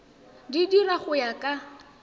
di dira go ya ka